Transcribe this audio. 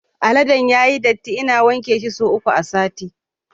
Aladen yayi datti, ina wanke shi sau uku a sati